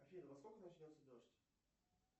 афина во сколько начнется дождь